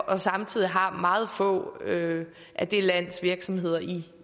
og samtidig har meget få af det lands virksomheder i